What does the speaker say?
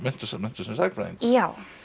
sem sagnfræðingur já